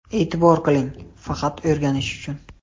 E’tibor qiling, faqat o‘rganishi uchun.